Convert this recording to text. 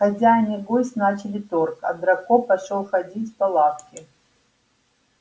хозяин и гость начали торг а драко пошёл ходить по лавке